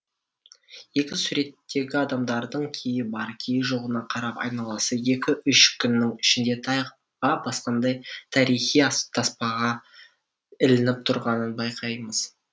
екі суреттегі адамдардың кейі бар кейі жоғына қарап айналасы екі үш күннің ішінде тайға басқандай тарихи таспаға ілініп тұрғанын байқаймыз